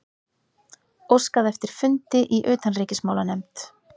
Óskað eftir fundi í utanríkismálanefnd